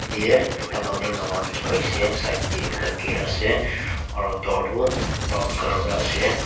ye ekta building dangor likhi paishe side te ekta ger ase aro door tu brown colour para ase.